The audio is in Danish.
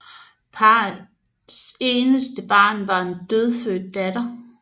Parrets eneste barn var en dødfødt datter